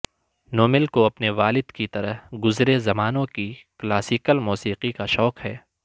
normal کو اپنے والد کی طرح گزرے زمانوں کی کلاسیکل موسیقی کا شوق ہے